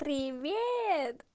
привет